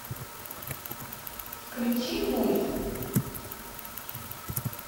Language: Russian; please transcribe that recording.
включи мульт